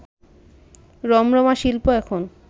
রমরমা শিল্প এখন